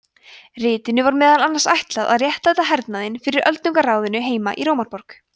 ritinu var meðal annars ætlað að réttlæta hernaðinn fyrir öldungaráðinu heima í rómaborg